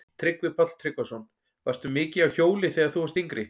Tryggvi Páll Tryggvason: Varstu mikið á hjóli þegar þú varst yngri?